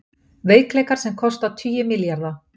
Veikleikar sem kosta tugi milljarða